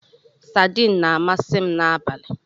Sadiin na-amasị m n'abalị